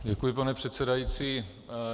Děkuji, pane předsedající.